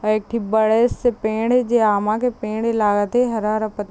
औ एक ठॆ बड़े -से पेड़ हे अामा के पेड़ हे लागत है हरा-हरा प--